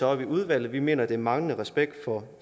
op i udvalget vi mener det er manglende respekt for